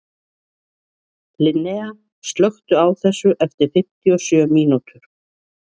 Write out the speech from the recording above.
Linnea, slökktu á þessu eftir fimmtíu og sjö mínútur.